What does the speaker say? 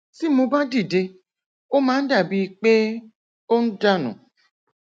tí mo bá dìde ó máa ń dà bíi pé ó ń dà nù